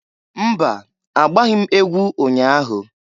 Mba! Agbaghị m egwu ụnya ahụ.